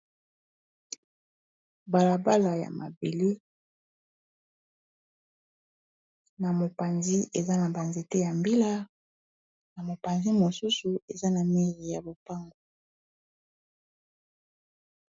balabala ya mabele na mopanzi eza na banze te ya mbila na mopanzi mosusu eza na mili ya bopango